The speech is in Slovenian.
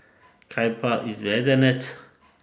Kaj pa izvedenec?